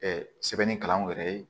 sɛbɛnnikɛlaw yɛrɛ ye